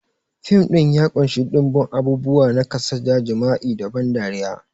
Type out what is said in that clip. Fim ɗin ya ƙunshi ɗimbin abubuwa na kasada, jima'i da ban dariya.